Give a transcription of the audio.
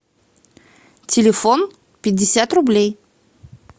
телефон пятьдесят рублей